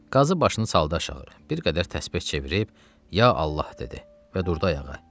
Qazi başını saldı aşağı, bir qədər təsbeh çevirib, ya Allah dedi və durdu ayağa.